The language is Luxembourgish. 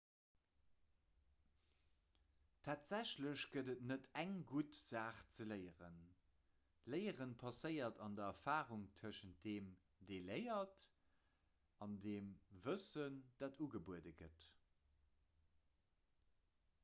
tatsächlech gëtt et net eng gutt saach ze léieren léiere passéiert an der erfarung tëschent deem dee léiert an dem wëssen dat ugebuede gëtt